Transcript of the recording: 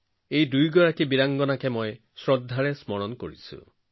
এই নায়ক দুজনক মই সন্মান কৰো